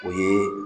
O ye